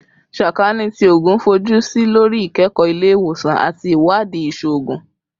Sakaani ti Oogun fojusi lori ikẹkọ ile-iwosan ati iwadii iṣoogun